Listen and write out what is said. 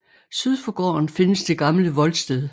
Syd for gården findes det gamle voldsted